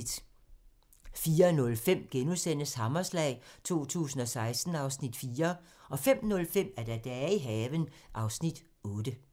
04:05: Hammerslag 2016 (Afs. 4)* 05:05: Dage i haven (Afs. 8)